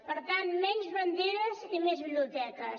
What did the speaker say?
per tant menys banderes i més biblioteques